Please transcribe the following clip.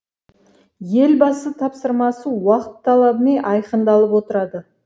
елбасы тапсырмасы уақыт талабымен айқындалып отырады